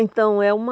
Então, é uma...